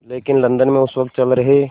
लेकिन लंदन में उस वक़्त चल रहे